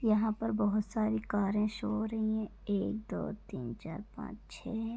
यहां पर बहोत सारी कारें शो हो रहीं हैं। एक दो तीन चार पांच छे है।